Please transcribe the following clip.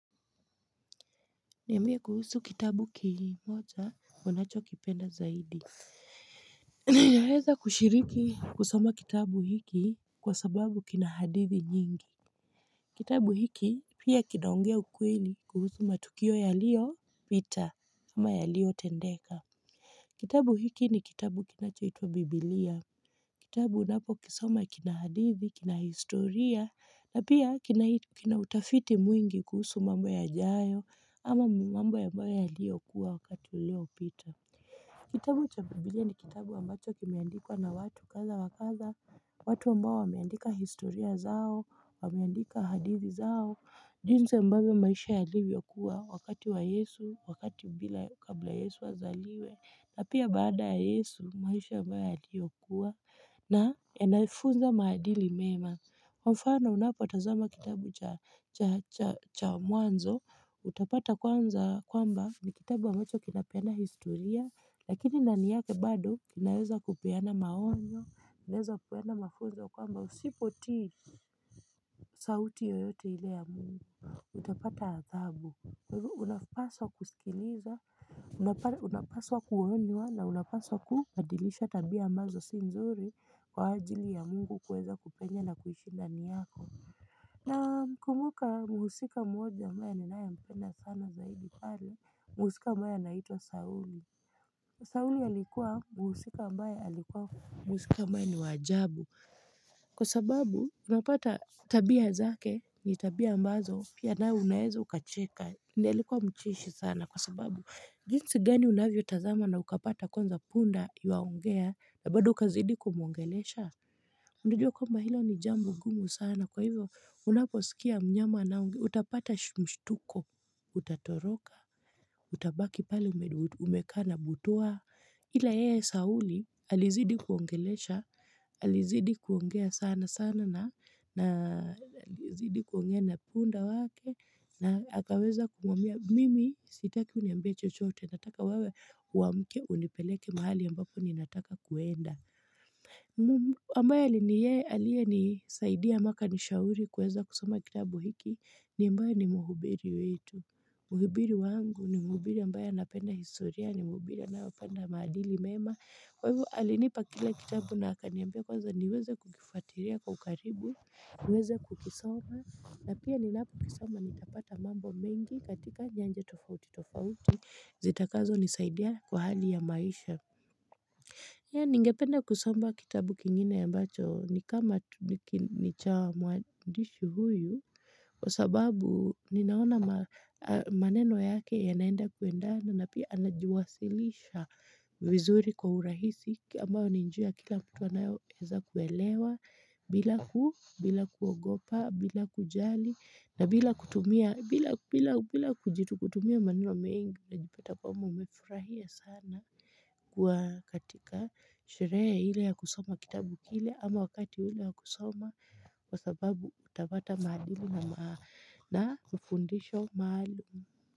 Niambie kuhusu kitabu kimoja unachokipenda zaidi. Nimeweza kushiriki kusoma kitabu hiki kwa sababu kina hadithi nyingi. Kitabu hiki pia kinaongea ukweli kuhusu matukio yaliyo vita ama yaliyotendeka. Kitabu hiki ni kitabu kinachoitwa Biblia. Kitabu unapokisoma kina hadithi, kina historia, na pia kina utafiti mwingi kuhusu mambo yajayo, ama mambo ambayo yaliyokuwa wakati uliopita. Kitabu cha biblia ni kitabu ambacho kimeandikwa na watu kadha wa kadha, watu ambao wameandika historia zao, wameandika hadithi zao. Junsi ambavyo maisha yalivyokuwa wakati wa yesu wakati bila kabla yesu azaliwe na pia baada ya yesu maisha ambayo yaliyokuwa na inayefunza maadili mema Kwa mfano unapotazama kitabu cha mwanzo utapata kwanza kwamba ni kitabu ambacho kinapeana historia lakini ndani yake bado kinaeza kupeana maonyo Naeza kupeana mafunzo kwamba usipotii sauti yoyote ile ya mungu Utapata adhabu unapaswa kusikiliza unapaswa kuonywa na unapaswa kubadilisha tabia ambazo si nzuri kwa ajili ya mungu kuweza kupenya na kuishinda ndani yako Nakumbuka mhusika mmoja ambaye ninayempenda sana zaidi pale mhusika ambaye anaitwa sauli auli alikuwa muhusika ambaye alikuwa mhusika ambaye ni wa ajabu Kwa sababu unapata tabia zake ni tabia ambazo pia nawe unaeza ukacheka ndio alikua mcheshi sana kwa sababu jinsi gani unavyotazama na ukapata kwanza punda yuwaongea na bado ukazidi kumwongelesha Unajua kwamba hilo ni jambo ngumu sana kwa hivyo unaposikia mnyama anayeongea utapata mshtuko Utatoroka Utabaki pale umekaa na butwaa ila yeye Sauli alizidi kuongelesha, alizidi kuongea sana sana na alizidi kuongea na punda wake na akaweza kumwambia mimi sitaki uniambie chochote nataka wewe uamke unipeleke mahali ambapo ninataka kuenda. Nimbaya ni yeye aliyenisaidia mpaka nishauri kuweza kusoma kitabu hiki Nimbaya ni muhubiri wetu Mhubiri wangu ni mhubiri ambaye anapenda historia ni mhubiri anayopenda maadili mema Kwa hivo alinipa kile kitabu na akaniambia kwanza niweze kukifuatilia kwa ukaribu niweze kukisoma na pia ninapokisoma nitapata mambo mengi katika nyanja tofauti tofauti zitakazonisaidia kwa hali ya maisha Pia ningependa kusoma kitabu kingine ya ambacho ni kama ni cha mwandishi huyu kwa sababu ninaona maneno yake yanaenda kuenda na pia anajiwasilisha vizuri kwa urahisi ambao ni njia kila mtu anayoweza kuelewa bila kuogopa bila kujali na bila kutumia bila kujitu kutumia maneno mingi unajipata kwamba umefurahia sana kuwa katika. Sherehe ile ya kusoma kitabu kile ama wakati ule wa kusoma Kwa sababu utapata maadili na ufundisho maalum.